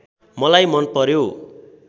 मलाई मन पर्‍यो